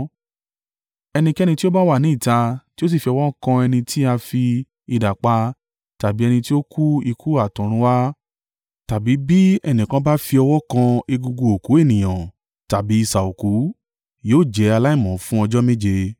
“Ẹnikẹ́ni tí ó bá wà ní ìta tí ó sì fi ọwọ́ kan ẹni tí a fi idà pa tàbí ẹni tí ó kú ikú àtọ̀runwá, tàbí bí ẹnìkan bá fi ọwọ́ kan egungun òkú ènìyàn tàbí isà òkú, yóò jẹ́ aláìmọ́ fún ọjọ́ méje.